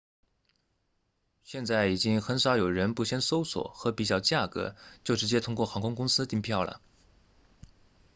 现在已经很少有人不先搜索和比较价格就直接通过航空公司订票了